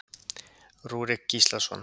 Rúrik Gíslason.